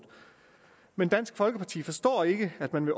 men dansk folkeparti forstår ikke at man